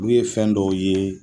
Ulu ye fɛn dɔw ye